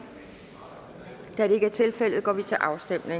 da det ikke er tilfældet går vi til afstemning